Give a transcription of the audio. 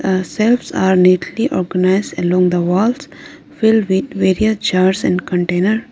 the shelves are neatly organised along the walls filled with various jars and containers.